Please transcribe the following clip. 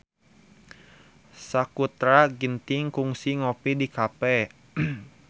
Sakutra Ginting kungsi ngopi di cafe